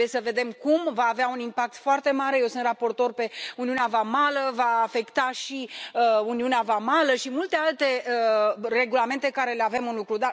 Trebuie să vedem cum va avea un impact foarte mare eu sunt raportor pe uniunea vamală va afecta și uniunea vamală și multe alte regulamente pe care le avem în lucru.